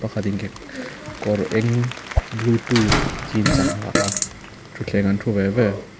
pakhat in ke kawr eng jeans a ha a thitthleng ah an thu ve ve.